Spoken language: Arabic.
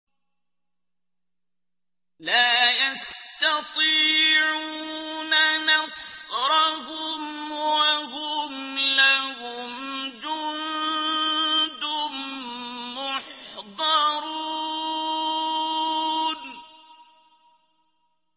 لَا يَسْتَطِيعُونَ نَصْرَهُمْ وَهُمْ لَهُمْ جُندٌ مُّحْضَرُونَ